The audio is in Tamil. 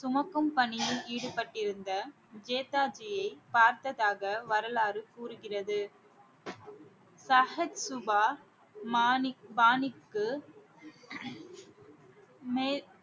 சுமக்கும் பணியில் ஈடுபட்டிருந்த ஜேதாஜியை பார்த்ததாக வரலாறு கூறுகிறது ஸஹத் சுபா மாணிக் பாணிக்கு மே~